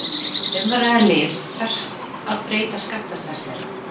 Ef um er að ræða lyf, þarf að breyta skammtastærð þeirra.